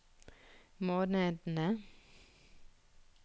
månedene